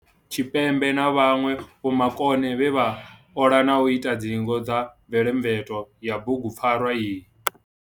Tshipembe na vhanwe vhomakone vhe vha ola na u ita ndingo dza mvetomveto ya bugu pfarwa iyi.